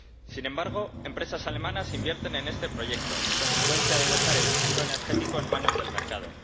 Sin embargo, hay empresas alemanas que invierten en este proyecto, consecuencia de dejar el futuro energético en manos del mercado.